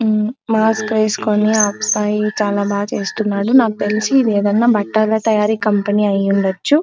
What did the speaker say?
ఉమ్మ్ మాస్క్ వేసుకొని ఆ అబ్బాయి చాల బాగా చేస్తున్నాడు నాన్నకు తెలిసి ఇది మెటల్ తయారీ కంపెనీ అయ్యుండొచ్చు.